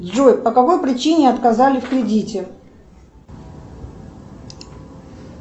джой по какой причине отказали в кредите